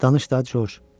Danış da, Corc.